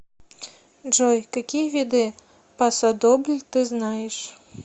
джой какие виды пасодобль ты знаешь